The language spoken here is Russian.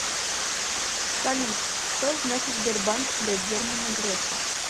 салют что значит сбербанк для германа грефа